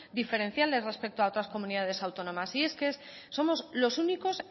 diferenciales respecto a otras comunidades autónomas y es que somos los únicos